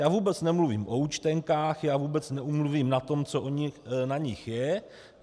Já vůbec nemluvím o účtenkách, já vůbec nemluvím o tom, co na nich je.